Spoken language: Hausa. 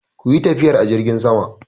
Ku yi tafiyar a jirgin sama!